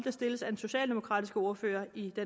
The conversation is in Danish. er stillet af den socialdemokratiske ordfører i